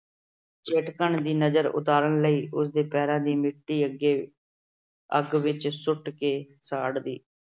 ਚਟਕਣ ਦੀ ਨਜਰ ਉਤਾਰਨ ਲਈ ਉਸਦੇ ਪੈਰਾਂ ਦੀ ਮਿੱਟੀ ਅੱਗੇ ਅਹ ਅੱਗ ਵਿੱਚ ਸੁੱਟ ਕੇ ਸਾੜਦੀ।